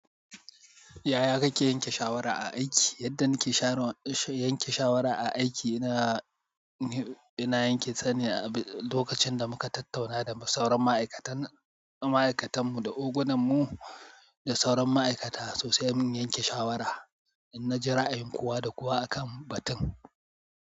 Yaya kake yanke shawara a aiki? Yadda nake shara, yanke shawara a aiki, ina, ina yanke ta ne a lokacin da muka tattauna da sauran ma'aikatan, ma'aikatan mu da ogan mu, da sauran ma'aikata so sai mu yanke shawara. In na ji ra'ayin kowa da kowa a kan batun.